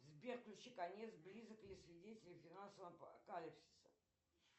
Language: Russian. сбер включи конец близок или свидетели финансового апокалипсиса